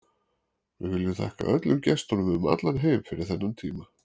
Við viljum þakka öllum gestunum um allan heim fyrir þennan tíma.